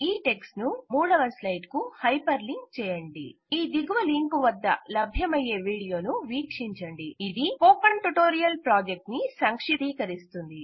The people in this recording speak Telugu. ఈ టెక్ట్ ను 3వ స్లైడ్ కు హైపర్ లింక్ చేయండి ఈ దిగువ లింకు వద్ద లభ్యమయ్యే వీడియోను వీక్షించండి ఇది స్పోకెన్ ట్యుటోరియల్ ప్రాజెక్ట్ను సంక్షిప్తీకరిస్తుంది